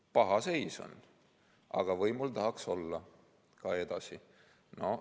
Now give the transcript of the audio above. Paha seis on, aga võimul tahaks edasi olla.